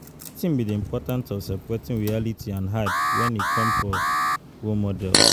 Wetin be di important of separating reality from hype when e come for role models?